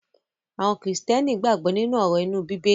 Àwọn Kìrìtẹ́ẹ́nì gbàgbó nínú òrò imu bíbélì.